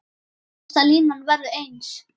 Aftasta línan verður eins.